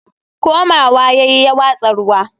komawa yayi ya watsa ruwa